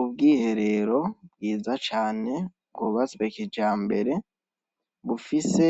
Ubwiherero bwiza cane bwubatswe kijambere bufise